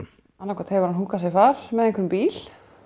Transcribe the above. annaðhvort hefur hann húkkað sér far með einhverjum bíl